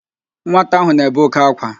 Nwata ahụ na-ebe òké ákwá